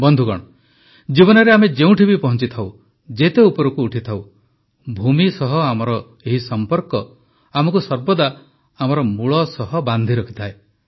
ବନ୍ଧୁଗଣ ଜୀବନରେ ଆମେ ଯେଉଁଠି ବି ପହଞ୍ଚିଥାଉ ଯେତେ ଉପରକୁ ଉଠିଥାଉ ଭୂମି ସହ ଆମର ଏହି ସମ୍ପର୍କ ଆମକୁ ସର୍ବଦା ଆମର ମୂଳ ସହ ବାନ୍ଧି ରଖିଥାଏ